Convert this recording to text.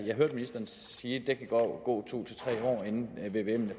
jeg hørte ministeren sige at der kan gå to tre år inden vvmen